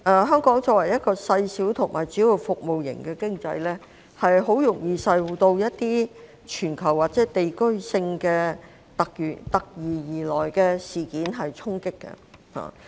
香港作為一個細小和主要服務型的經濟體，很容易受到一些全球或地區性突如其來的事件衝擊。